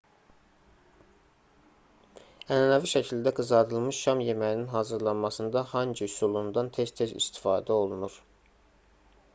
ənənəvi şəkildə qızardılmış şam yeməyinin hazırlanmasında hangi üsulundan tez-tez istifadə olunur